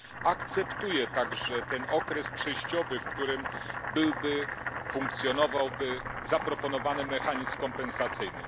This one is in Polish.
Akceptuję także okres przejściowy, w którym funkcjonowałby zaproponowany mechanizm kompensacyjny.